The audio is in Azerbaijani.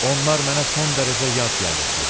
Onlar mənə son dərəcə yad gəlirdi.